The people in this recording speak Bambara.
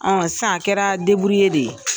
Sisan a kɛra de ye.